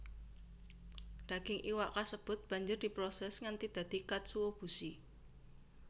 Daging iwak kasebut banjur diproses nganti dadi katsuobushi